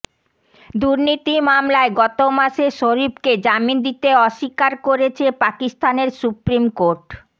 দুর্নীতি মামলায় গত মাসে শরিফকে জামিন দিতে অস্বীকার করেছে পাকিস্তানের সুপ্রিম কোর্ট